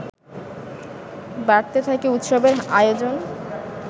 বাড়তে থাকে উৎসবের আয়োজন